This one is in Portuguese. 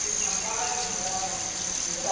Os rapazes moravam no porão?